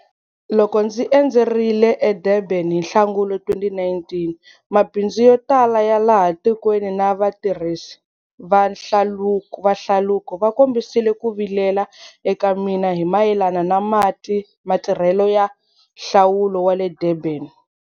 Loko ndzi endzerile eDurban hi Nhlangula 2019, mabindzu yo tala ya laha tikweni na vatirhisi va hlaluko va kombisile ku vilela eka mina hi mayelana na matirhelo ya Hlaluko wa le Durban.